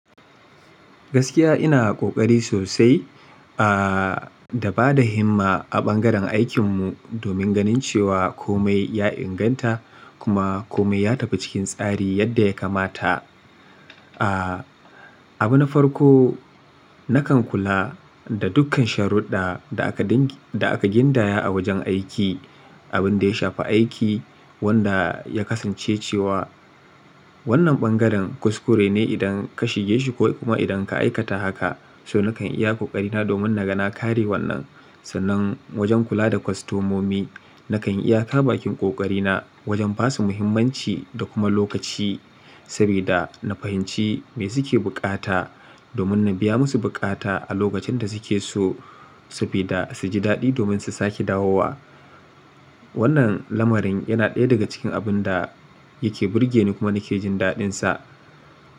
Gaskiya ina ƙoƙari sosai, a, da ba da himma a ɓangaren aikin mu domin ganin cewa kome ya inganta kuma kome ya tafi cikin tsari yadda ya kamata. A, abu na farko nakan kula da dukkan sharuɗɗa da aka gindaya a wajen aiki, abin da ya shafi aiki wanda ya kasance cewa wannan ɓangaren kuskure ne idan ka shige shi ko kuma idan ka aikata haka. So nakan iya ƙoƙarina domin na ga na kare wannan. Sannan wajen kula da kwastomomi nakan iya ka bakin ƙoƙarina wajen ba su muhimmanci da kuma lokaci sabida na fahimci me suke buƙata domin na biya musu buƙata a lokacin da suke so saboda su ji daɗi domin su sake dawowa. Wannan lamarin yana ɗaya daga cikin abun da yake burgeni kuma nake jin daɗinsa.